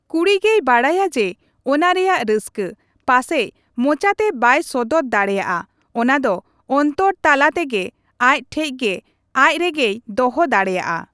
ᱠᱩᱲᱤ ᱜᱮᱭ ᱵᱟᱰᱟᱭᱟ ᱡᱮ ᱚᱱᱟ ᱨᱮᱭᱟᱜ ᱨᱟᱹᱥᱠᱟᱹ ᱾ ᱯᱟᱥᱮᱡ ᱢᱚᱪᱟᱛᱮ ᱵᱟᱭ ᱥᱚᱫᱚᱨ ᱫᱟᱲᱮᱭᱟᱜᱼᱟ ᱚᱱᱟᱫᱚ ᱚᱱᱛᱚᱨ ᱛᱟᱞᱟ ᱛᱮᱜᱮ ᱟᱡ ᱴᱷᱮᱡ ᱜᱮ ᱟᱡ ᱨᱮᱜᱮᱭ ᱫᱚᱦᱚ ᱫᱟᱲᱮᱭᱟᱜᱼᱟ ᱾